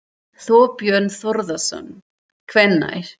Þorbjörn Þórðarson: Hvenær?